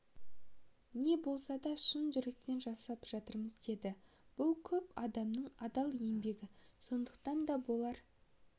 не болса да шын жүректен жасап жатырмыз енді бұл көп адамның адал еңбегі сондықтан да болар